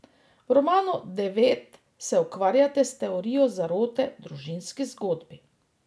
V romanu Devet se ukvarjate s teorijo zarote v družinski zgodbi.